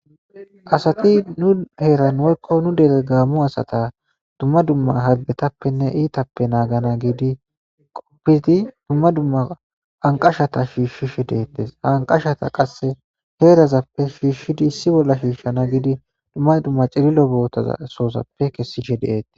Asati nu heeran woyko nu dere gaamo asata dumma dumma hargetappenne iitappe nagana giidi dumma dumma anqashata shiishishe de'etes, ha anqashata qase heerazappe shiishidi issi bolla shiishana gidi dumma dumma cililo dozappe kesishe detes.